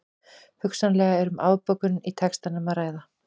Hugsanlega er um afbökun í textanum að ræða.